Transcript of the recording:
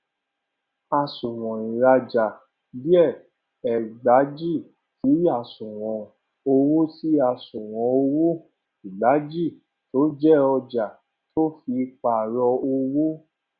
àsunwon ìrajà dr ẹgbàjì sí asunwon owó sí asunwon owó ẹgbàjì tó jẹ ọjà tọ fi pàrọ owó